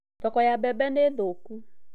Thoko ya mbembe nĩ thũku.